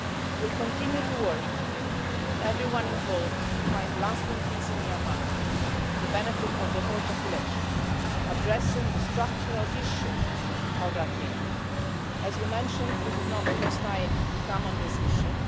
We will continue to work with everyone involved to find lasting peace in Myanmar to the benefit of the whole population, addressing the structural issue of Rakhine. As you mentioned, this is not the first time we have come on this issue.